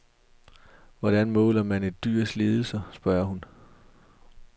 Hvordan måler man et dyrs lidelser, spørger hun.